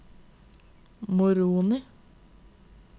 Moroni